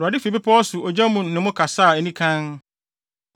Awurade fi bepɔw so ogya mu ne mo kasaa anikann.